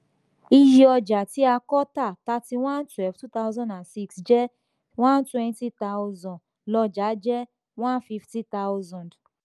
iye ọjà tí a kò tà thirty one / twelve / two thousand six jẹ́ one hundred twenty thousand; lọ́jà jẹ́ one hundred fifty thousand.